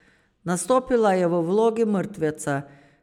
Nastopila je v vlogi mrtveca.